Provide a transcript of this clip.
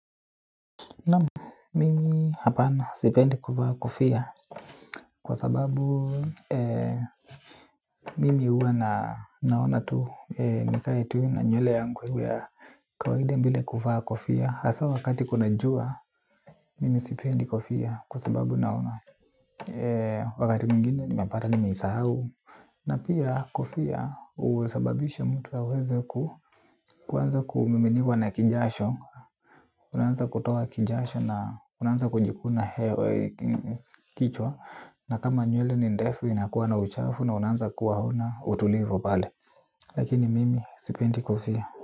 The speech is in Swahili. Naam mimi hapana sipendi kuvaa kofia kwa sababu mimi huwa na naona tuu nikae tuu na nywele yangu ya kawaida bila kufaa kofia. Hasa wakati kuna jua mimi sipendi kofia kwa sababu naona wakati mwingine nimepata nimeisahau. Na pia kofia husababisha mtu aweze kuanza kumiminiwa na kijasho. Unaanza kutoa kijasho na unaanza kujikuna kichwa. Na kama nywele ni ndefu inakuwa na uchafu na unaanza kuwa hauna utulivu pale. Lakini mimi sipendi kofia.